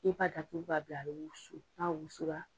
I b'a datugu ka bila a bɛ wusu n'a wusu la